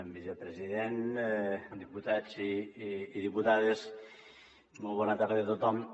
vicepresident diputats i diputades molt bona tarda a tothom